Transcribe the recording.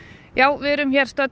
við erum